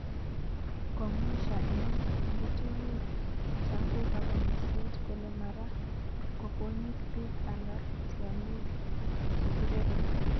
Komwesha en ngetunyik cho kokako musiet kole mara koponyik pik ara tianyik che kirepe